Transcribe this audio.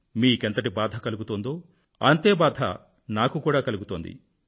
మీకెంతటి బాధ కలుగుతోందో అంతే బాధ నాకు కూడా కలుగుతోంది